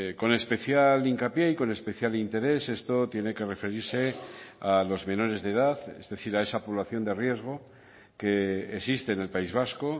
con especial hincapié y con especial interés esto tiene que referirse a los menores de edad es decir a esa población de riesgo que existe en el país vasco